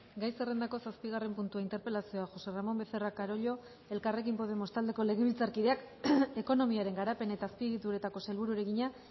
gai zerrendako zazpigarren puntua interpelazioa josé ramón becerra carollo elkarrekin podemos taldeko legebiltzarkideak ekonomiaren garapen eta azpiegituretako sailburuari egina